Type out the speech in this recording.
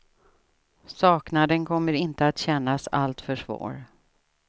Saknaden kommer inte att kännas allltför svår.